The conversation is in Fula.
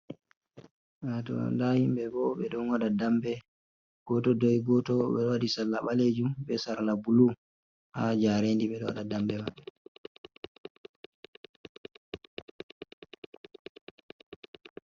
Hatto nda himɓɓe bo ɓe ɗon waɗa damɓe, goto doyi goto ɓeɗo waɗi salla ɓalejum be sarla bulu, ha jarendi ɓe ɗo waɗa dambe maɓɓe.